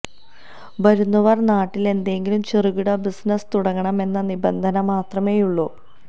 വരുന്നവര് നാട്ടില് എന്തെങ്കിലും ചെറുകിട ബിസിനസ് തുടങ്ങണം എന്ന നിബന്ധന മാത്രമേയുള്ളൂ